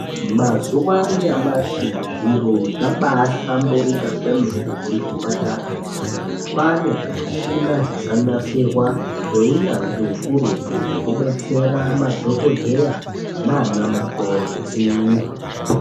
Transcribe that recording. Mazuva anyamashi zviro zvabahlamburika kwemene kuzvipatarayo. Kwana zvimishina zvakanasirwa ngeinyanzvi hukurutu zvekubetsera madhogodheya nana mukoti.